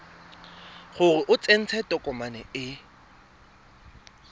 gore o tsentse tokomane e